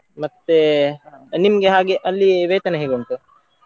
ಮತ್ತೇ ನಿಮ್ಗೆ ಹಾಗೆ ಅಲ್ಲಿ ವೇತನ ಹೇಗುಂಟು?